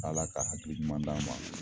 Ala ka hakili ɲuman d'an ma